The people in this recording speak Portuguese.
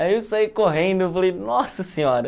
Aí eu saí correndo e falei, nossa senhora.